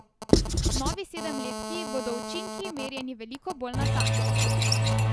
V novi sedemletki bodo učinki merjeni veliko bolj natančno.